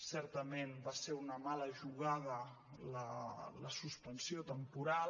certament va ser una mala jugada la suspensió temporal